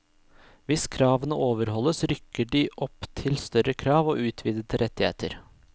Hvis kravene overholdes rykker de opp til større krav, og utvidede rettigheter.